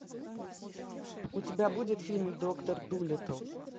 у тебя будет фильм доктор дулитл